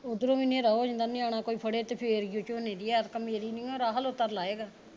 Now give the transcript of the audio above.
ਉਧਰੋਂ ਵੀ ਹਨੇਰਾ ਹੋ ਜਾਂਦਾ ਨਿਆਣਾ ਕੋਈ ਫੜੇ ਤੇ ਫਿਰ ਈ ਓ ਆ ਝੋਨੇ ਦੀ ਐਰਕਾ ਮੇਰੀ ਨਹੀਂ ਓ ਲਾਊਗਾ